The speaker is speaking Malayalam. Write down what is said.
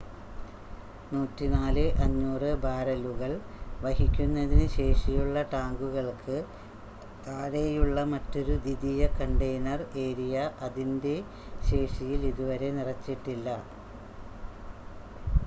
104,500 ബാരലുകൾ വഹിക്കുന്നതിന് ശേഷിയുള്ള ടാങ്കുകൾക്ക് താഴെയുള്ള മറ്റൊരു ദ്വിതീയ കണ്ടെയ്നർ ഏരിയ അതിൻ്റെ ശേഷിയിൽ ഇതുവരെ നിറച്ചിട്ടില്ല